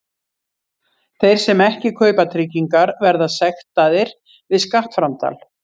Þeir sem ekki kaupa tryggingar verða sektaðir við skattframtal.